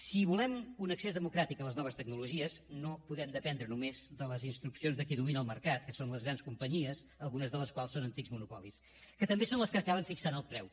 si volem un accés democràtic a les noves tecnologies no podem dependre només de les instruccions de qui domina el mercat que són les grans companyies algunes de les quals són antics monopolis que també són les que acaben fixant el preu